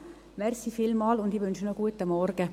Ich wünsche noch einen guten Morgen.